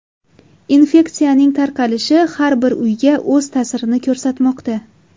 Infeksiyaning tarqalishi har bir uyga o‘z ta’sirini ko‘rsatmoqda.